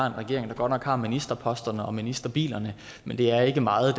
en regering der godt nok har ministerposterne og ministerbilerne men det er ikke meget af